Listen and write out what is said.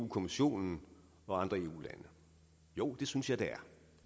kommissionen og andre eu lande jo det synes jeg det